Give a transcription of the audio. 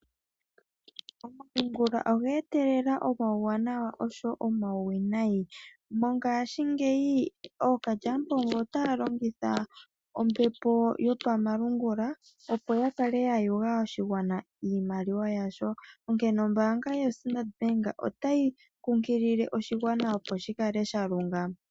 Omalungula oga etelela omawuwanawa oshowo omauwinayi. Mongashingeyi ookalyamupombo otaya longitha ombepo yopamalungula opo yakale ya yuga oshigwana iimaliwa yasho onkene Ombaanga yo Standard bank otayi kunkilile oshigwana opo shikale sha lungama.